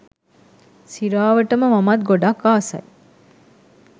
සිරාවටම මමත් ගොඩක් ආසයි